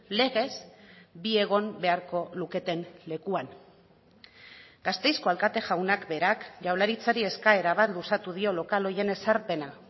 legez bi egon beharko luketen lekuan gasteizko alkate jaunak berak jaurlaritzari eskaera bat luzatu dio lokal horien ezarpena